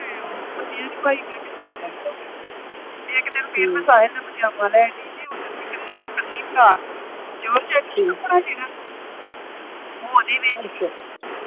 ਤੇ ਉਹ ਮੰਨੀਆਂ ਨੀ ਭਾਈ ਚਲ ਮੈਂ ਕਿਹਾ ਰਹਿੰਦੇ ਫੇਰ ਇਕ ਦਿਨ ਫੇਰ ਮੈਂ ਸਾਹਿਲ ਦਾ ਪਜਾਮਾ ਲੈਣ ਡਈ ਹੀ ਤੇ ਉੱਦਨ ਫਰਾਕ ਕੱਲੀ ਹੀ ਫਰਾਕ ਜੋਰਜੱਟ ਚ ਨੀ ਕਪੜਾ ਜਿਹੜਾ ਓ ਉਹਦੇ ਵਿਚ ਹੀ